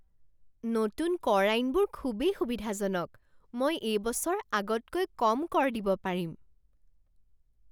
নতুন কৰ আইনবোৰ খুবেই সুবিধাজনক! মই এই বছৰ আগতকৈ কম কৰ দিব পাৰিম!